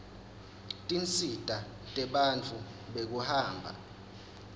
tinsita tebantfu bekuhamba